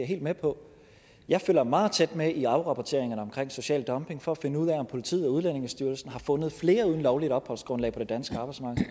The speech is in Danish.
helt med på jeg følger meget tæt med i afrapporteringerne om social dumping for at finde ud af om politiet og udlændingestyrelsen har fundet flere uden lovligt opholdsgrundlag på det danske arbejdsmarked